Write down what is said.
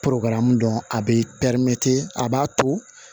dɔn a be pɛrimɛtiri a b'a to